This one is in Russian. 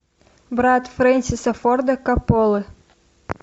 брат френсиса форда копполы